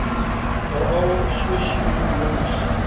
veral sosio ekonomies